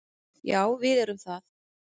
Já, við erum það.